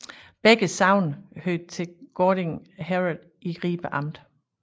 Begge sogne hørte til Gørding Herred i Ribe Amt